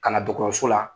Ka na dɔgɔtɔrɔso la